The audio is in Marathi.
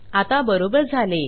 आता बरोबर झाले